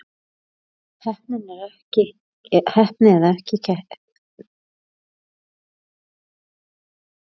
Heppni eða ekki heppni?